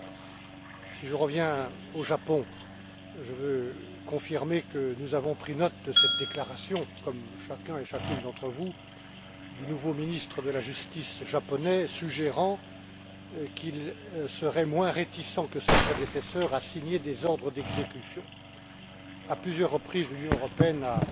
Pour revenir au Japon, je veux confirmer que nous avons pris note de cette déclaration, comme chacun et chacune d'entre vous, du nouveau ministre de la justice japonais suggérant qu'il serait moins réticent que ses prédécesseurs à signer des ordres d'exécution. À plusieurs reprises, l'Union européenne a